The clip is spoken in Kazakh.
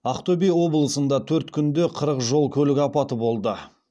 ақтөбе облысында төрт күнде қырық жол көлік апаты болды